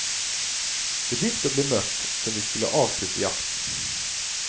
Det begynte å bli mørkt, så vi skulle avslutte jakten.